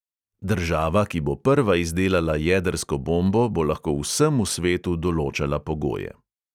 "Država, ki bo prva izdelala jedrsko bombo, bo lahko vsemu svetu določala pogoje."